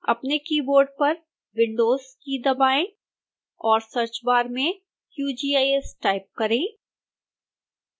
अपने कीबोर्ड पर windows की दबाएं और search bar में qgis टाइप करें